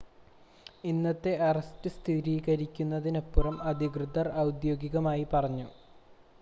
ഇന്നത്തെ അറസ്റ്റ് സ്ഥിരീകരിക്കുന്നതിനപ്പുറം അധികൃതർ ഔദ്യോഗികമായി പറഞ്ഞു